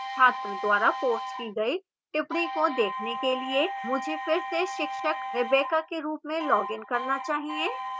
छात्र द्वारा पोस्ट की गई टिप्पणी को देखने के लिए मुझे फिर से शिक्षक rebecca के रूप में login करना चाहिए